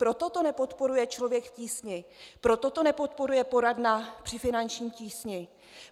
Proto to nepodporuje Člověk v tísni, proto to nepodporuje Poradna při finanční tísni.